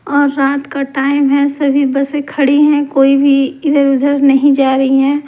और रात का टाइम है सभी बसें खड़ी हैं कोई भी इधर उधर नहीं जा रही है।